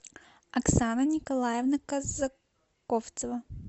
оксана николаевна казаковцева